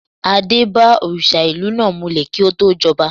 Adé bá òrìṣà ìlú náà mulẹ̀ kí ó tó jọba.